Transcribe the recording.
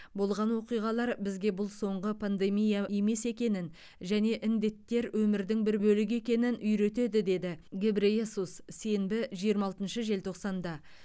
болған оқиғалар бізге бұл соңғы пандемия емес екенін және індеттер өмірдің бір бөлігі екенін үйретеді деді гебрейесус сенбі жиырма алтыншы желтоқсанда